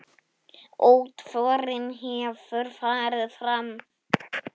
Útförin hefur farið fram.